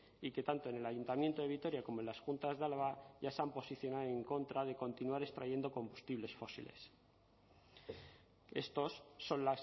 y que tanto en el ayuntamiento de vitoria como en las juntas de álava ya se han posicionado en contra de continuar extrayendo combustibles fósiles estos son